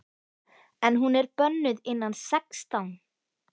En hún er bönnuð innan sextán!